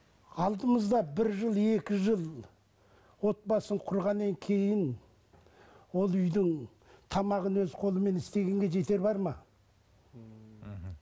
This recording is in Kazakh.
алдымызда бір жыл екі жыл отбасын құрғаннан кейін ол үйдің тамағын өз қолымен істегенге жетер бар ма мхм